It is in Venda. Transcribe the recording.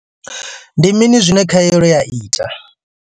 Ndi mini zwine khaelo ya ita?